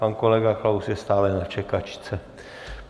Pan kolega Klaus je stále na čekačce.